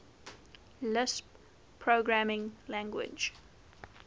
lisp programming language